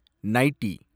nightie